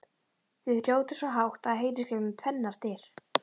Þau hrjóta svo hátt að það heyrist gegnum tvennar dyr!